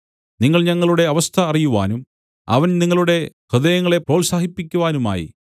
നിങ്ങൾ ഞങ്ങളുടെ അവസ്ഥ അറിയുവാനും അവൻ നിങ്ങളുടെ ഹൃദയങ്ങളെ പ്രോത്സാഹിപ്പിക്കുവാനുമായി